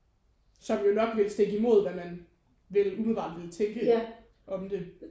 Som jo nok ville stikke imod hvad man vil umiddelbart ville tænke om det